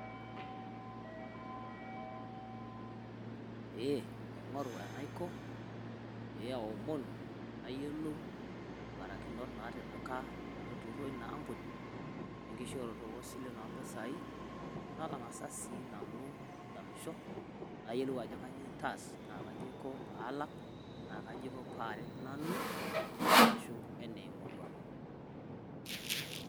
Eeh naing'oru enaiko pee aomonuu naiyielou mbaarakinoot natipikaa oltururroi enea empunii enkishooroto o sileen nee mpisaii natang'as si nanu adamisho naiyielo kanyoo eitaas naa kajo aiko paalaak naa aji kajoo paareet nanu arashu ene murrua.